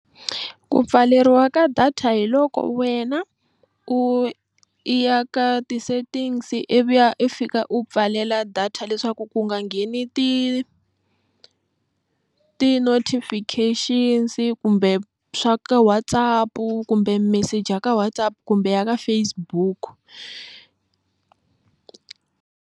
Ku pfaleriwa ka data hi loko wena u ya ka ti-settings ivi ya i fika u pfalela data leswaku ku nga ngheni ti ti-notifictions kumbe swa ka WhatsApp kumbe message ka WhatsApp kumbe ya ka Facebook.